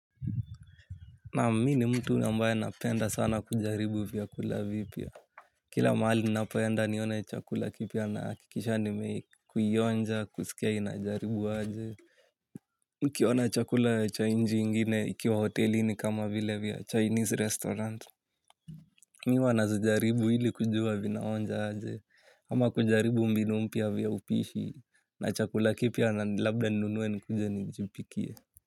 Naam mimi ni mtu ambaye napenda sana kujaribu vyakula vipya. Kila mahali ninapoenda nione chakula kipya nahakikisha nimeionja, kusikia inajaribu aje. Nikiona chakula cha nchi ingine ikiwa hotelini kama vile vya Chinese restaurant. Mimi huwa nazijaribu ili kujua vinaonja aje. Ama kujaribu mbinu mpya vya upishi na chakula kipya na labda ninunue nikuje nijipikie.